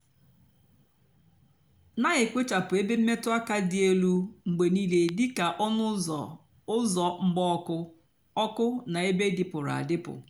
nà-èkpochapụ ébé mmetụ ákà dị élú mgbe nííle dị kà ónú úzọ úzọ mgba ọkụ ọkụ nà ébé dịpụrụ adịpụ.